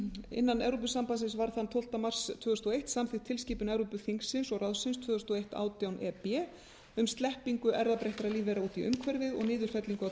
innan evrópusambandsins var þann tólfta mars tvö þúsund og eitt samþykkt tilskipun evrópuþingsins og ráðsins tvö þúsund og eitt átján e b um sleppingu erfðabreyttra lífvera út í umhverfið og niðurfellingu á